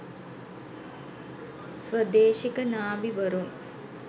ස්වදේශික නාවි වරුන්